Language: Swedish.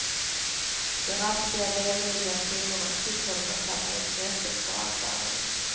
De raspiga vemodiga tonerna fick honom att tappa intresset för allt annat.